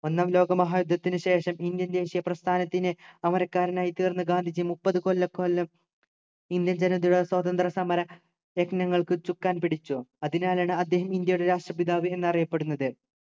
ഒന്നാം ലോക മഹായുദ്ധത്തിനു ശേഷം indian ദേശീയ പ്രസ്ഥാനത്തിന് അമരക്കാരനായി തീർന്ന ഗാന്ധിജി മുപ്പതുകൊല്ലക്കാലം indian ജനതയുടെ സ്വാതന്ത്രസമര യജ്ഞങ്ങൾക്ക് ചുക്കാൻ പിടിച്ചു അതിനാലാണ് അദ്ദേഹം ഇന്ത്യയുടെ രാഷ്ട്രപിതാവ് എന്നറിയപ്പെടുന്നത്